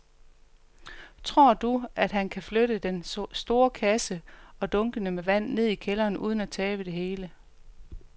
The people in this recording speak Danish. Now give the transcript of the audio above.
Tror du, at han kan flytte den store kasse og dunkene med vand ned i kælderen uden at tabe det hele?